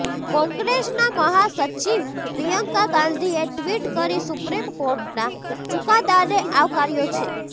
કોંગ્રેસના મહાસચિવ પ્રિયંકા ગાંધીએ ટ્વિટ કરી સુપ્રીમ કોર્ટના ચૂકાદાને આવકાર્યો છે